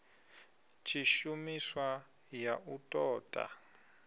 tshishumiswa ya u ṱo ḓa